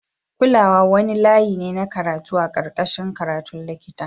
Kulawa wani layi ne na karatu a karkashin a karatun likita.